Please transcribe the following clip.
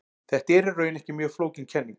Þetta er í raun ekki mjög flókin kenning.